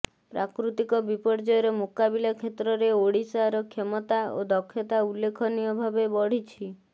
ପ୍ରାକୃତିକ ବିପର୍ଯ୍ୟୟର ମୁକାବିଲା କ୍ଷେତ୍ରରେ ଓଡ଼ିଶାର କ୍ଷମତା ଓ ଦକ୍ଷତା ଉଲ୍ଲେଖନୀୟ ଭାବେ ବଢ଼ିଛି